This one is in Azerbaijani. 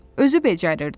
Özü becərirdi.